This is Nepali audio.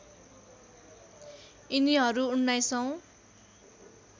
यिनीहरू १९ औँ